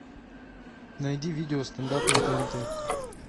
найди видео стендап на тнт